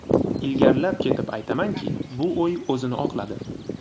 Ilgarilab ketib aytamanki, bu o‘y o‘zini oqladi.